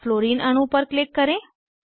fluorine अणु पर click करें